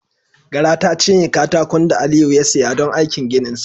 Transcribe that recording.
Gara ta cinye katakon da Aliyu ya siya don aikin gininsa.